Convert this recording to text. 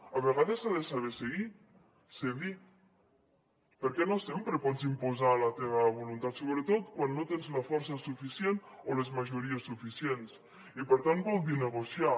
a vegades s’ha de saber cedir perquè no sempre pots imposar la teva voluntat sobretot quan no tens la força suficient o les majories suficients i per tant vol dir negociar